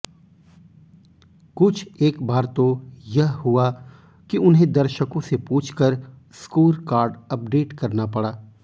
कुछ एक बार तो यह हुआ कि उन्हें दर्शकों से पूछकर स्कोरकार्ड अपडेट करना पड़ा